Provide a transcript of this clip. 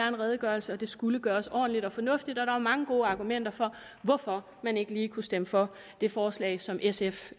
en redegørelse og det skulle gøres ordentligt og fornuftigt der var mange gode argumenter for hvorfor man ikke lige kunne stemme for det forslag som sf